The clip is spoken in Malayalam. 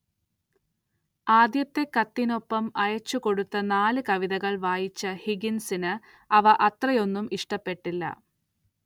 ആദ്യത്തെ കത്തിനൊപ്പം അയച്ചുകൊടുത്ത നാല് കവിതകൾ വായിച്ച ഹിഗിൻസിന് അവ അത്രയൊന്നും ഇഷ്ടപ്പെട്ടില്ല.